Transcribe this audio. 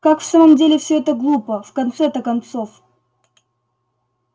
как в самом деле все это глупо в конце-то концов